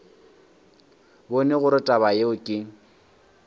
bone gore taba yeo ke